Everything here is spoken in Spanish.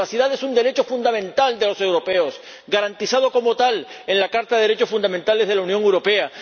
La privacidad es un derecho fundamental de los europeos, garantizado como tal en la Carta de los Derechos Fundamentales de la Unión Europea.